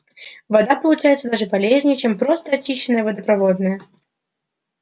вода получается даже полезнее чем просто очищенная водопроводная